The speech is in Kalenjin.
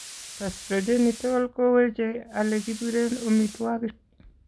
Gastrogenital ko weeche alekibireen omitwogik